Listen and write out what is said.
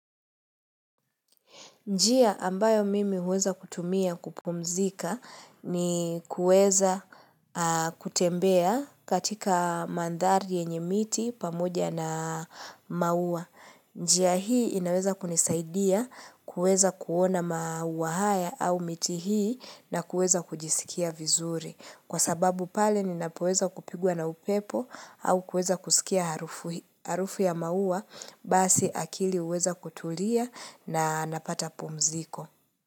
Njia ambayo mimi uweza kutumia kupumzika ni kueza kutembea katika mandari yenye miti pamoja na maua. Njia hii inaweza kunisaidia kueza kuona maua haya au miti hii na kueza kujisikia vizuri. Kwa sababu pale ninapoweza kupigua na upepo au kweza kusikia harufu ya maua basi akili uweza kutulia na napata pumziko.